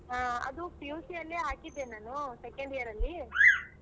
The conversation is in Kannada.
ಹಾ ಅದು PUC ಅಲ್ಲೇ ಹಾಕಿದ್ದೆ ನಾನು second year ಅಲ್ಲಿ.